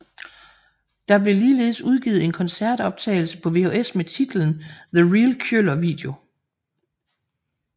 Der blev ligeledes udgivet en koncertoptagelse på VHS med titlen The Real Kjøller Video